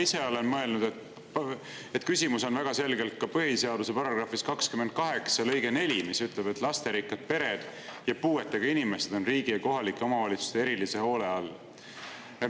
Ma ise olen mõelnud, et küsimus on väga selgelt ka põhiseaduse § 28 lõikes 4, mis ütleb, et lasterikkad pered ja puuetega inimesed on riigi ja kohalike omavalitsuste erilise hoole all.